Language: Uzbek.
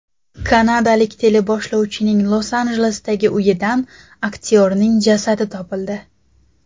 Kanadalik teleboshlovchining Los-Anjelesdagi uyidan aktyorning jasadi topildi.